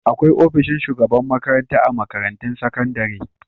Akwai ofishin shugaban makranta a makarantun sakandare.